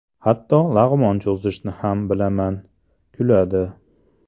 Hatto lag‘mon cho‘zishni ham bilaman (kuladi).